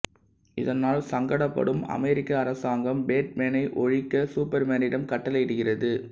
இதனால் சங்கடப்படும் அமெரிக்க அரசாங்கம் பேட்மேனை ஒழிக்க சூப்பர்மேனிடம் கட்டளையிடுகிறது